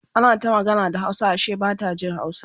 ana ta magana da hausa Ashe Bata Jin hausa